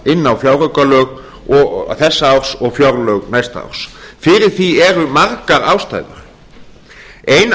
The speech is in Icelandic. inn á fjáraukalög þessa árs og fjárlög næsta árs fyrir því eru margar ástæður ein